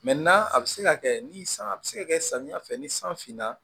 a bɛ se ka kɛ ni san a bɛ se ka kɛ samiya fɛ ni san finna